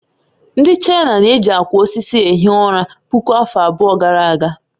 Ndị China na-eji akwa osisi ehi ụra puku afọ abụọ gara aga